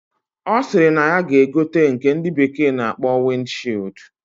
Osiri na ya ga egote nke ndi bekee na akpo wind shield.